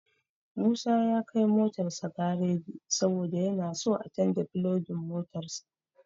Musa ya kai motarsa gareji saboda yana so a canja filogan motarsa.